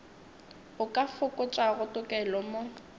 o ka fokotšago tokelo mo